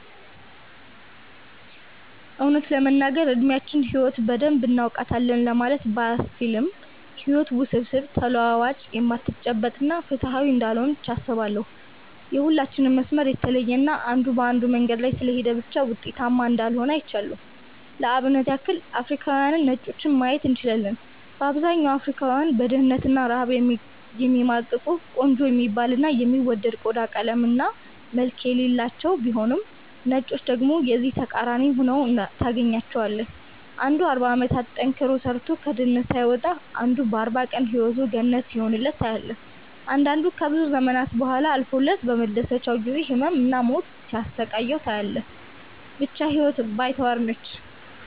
እውነት ለመናገር እድሚያችን ህይወትን በደንብ እናውቃታለን ለማለት ባያስችልም ህይወት ውስብስብ፣ ተለዋዋጭ፣ የማትጨበጥ እና ፍትሃዊ እንዳልሆነች አስባለው። የሁላችንም መስመር የተለየ እና አንዱ በአንዱ መንገድ ስለሄደ ብቻ ውጤታማ እንዳልሆነ አይቻለው። ለአብነት ያክል አፍሪካውያንንና ነጮችን ማየት እንችላለን። በአብዛኛው አፍሪካውያን በድህነት እና ረሃብ የሚማቅቁ፤ ቆንጆ የሚባል እና የሚወደድ ቆዳ ቀለም እና መልክ የሌላቸው ቢሆኑም ነጮችን ደግሞ የዚህ ተቃራኒ ሁነው ታገኛቸዋለህ። አንዱ 40 አመታትን ጠንክሮ ሰርቶ ከድህነት ሳይወጣ አንዱ በ 40 ቀን ህይወቱ ገነት ሲሆንለት ታያለህ። አንዳንዱ ከብዙ ዘመናት ቡሃላ አልፎለት በመደሰቻው ጊዜ ህመም እና ሞት ሲያሰቃየው ታያለህ። ብቻ ህይወት ባይተዋር ነች።